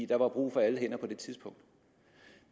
der var brug for alle hænder på det tidspunkt